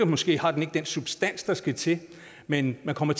måske har den ikke den substans der skal til men man kommer